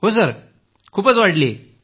हो सर खूप वाढली आहे